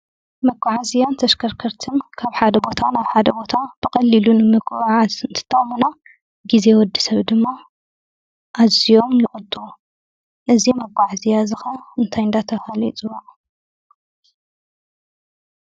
መጓዓዝያን ተሽከርከርትን ካብ ሓደ ቦታ ናብ ሓደ ቦታ ብቐሊሉ ንምጉዕዓዝ እንትጠቕሙና ግዜ ወድሰብ ድማ ኣዝዮም ይቕጥቡ። እዚ መጓዓዝያ እዚ ከዓ እንታይ እንዳተብሃለ ይፅዋዕ?